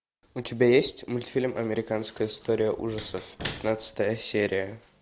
у тебя есть мультфильм американская история ужасов пятнадцатая серия